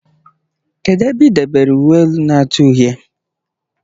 Kedụ ebe idobere uwe elu na-acha uhie?